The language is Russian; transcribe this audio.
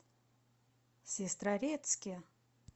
сестрорецке